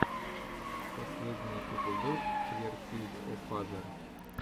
последний эпизод квертийофазер